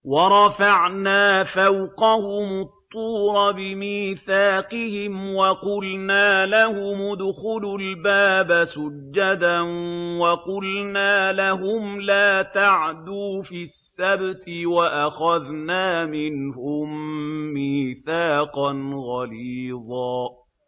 وَرَفَعْنَا فَوْقَهُمُ الطُّورَ بِمِيثَاقِهِمْ وَقُلْنَا لَهُمُ ادْخُلُوا الْبَابَ سُجَّدًا وَقُلْنَا لَهُمْ لَا تَعْدُوا فِي السَّبْتِ وَأَخَذْنَا مِنْهُم مِّيثَاقًا غَلِيظًا